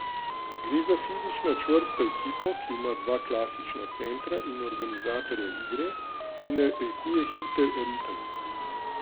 Gre za fizično čvrsto ekipo, ki ima dva klasična centra in organizatorja igre, ki narekuje hiter ritem.